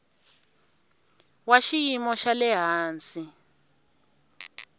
wa xiyimo xa le hansi